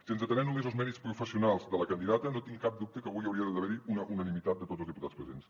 si ens atenem només als mèrits professionals de la candidata no tinc cap dubte que avui hi hauria d’haver unanimitat de tots els diputats presents